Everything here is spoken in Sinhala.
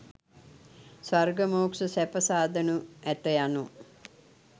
ස්වර්ග මෝක්‍ෂ සැප සාදනු ඇත යනු